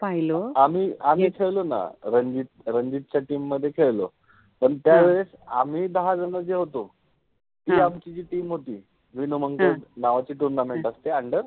hello, आम्हि खेळलो ना, रंजि रंजि च्या टिम मधे खेळलो, पण त्यावेळेस आम्हि दहा जण जे होतो किव्वा आमचि जि टिम होति विनोमंगल नावाचि टुर्नामेंट {turnament} असते अंडर